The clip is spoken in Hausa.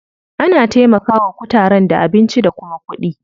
Ana taimaka wa kutaren da abinci da kuma kuɗi.